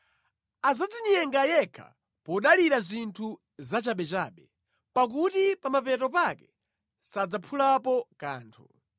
Asadzinyenge yekha podalira zinthu zachabechabe, pakuti pa mapeto pake sadzaphulapo kanthu.